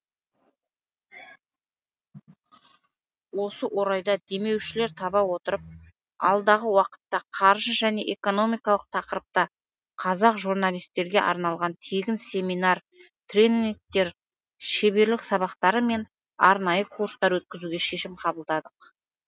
осы орайда демеушілер таба отырып алдағы уақытта қаржы және экономикалық тақырыпта қазақ журналистерге арналған тегін семинар тренингтер шеберлік сабақтары мен арнайы курстар өткізуге шешім қабылдадық